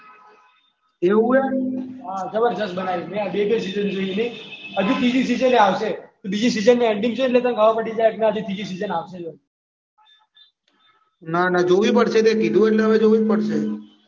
એવું ય. હા જબરજસ્ત બનાઈ છે બેય બે સીઝન જોઈ લીધી હજી ત્રીજી સિઝન આવશે બીજી સિઝનનું એન્ડિંગ છે ને એમાં ખબર પડી જાય કે ત્રીજી સિઝન આવશે. ના ના જોવી પડશે કીધુ એટલે જોવું જ પડશે.